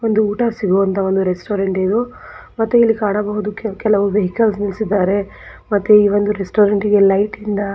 ಒಂದು ಊಟ ಸಿಗೋವಂಥ ಒಂದು ರೆಸ್ಟೋರೆಂಟ್ ಇದು ಮತ್ತೆ ಇಲ್ಲಿ ಕಾಣಬಹುದು ಕೆಲವೊಂದು ವೆಹಿಕಲ್ ನಿಲ್ಲಿಸಿದ್ದಾರೆ ಮತ್ತೆ ಈ ಒಂದು ರೆಸ್ಟೋರೆಂಟಿಗೆ ಲೈಟ್ ಇಂದ--